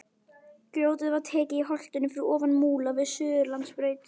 Grjótið var tekið í holtinu fyrir ofan Múla við Suðurlandsbraut.